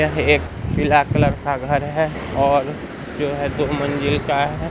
यह एक पीला कलर का घर है और जो है दो मंजिल का है।